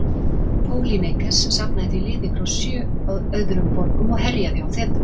Pólýneikes safnaði því liði frá sjö öðrum borgum og herjaði á Þebu.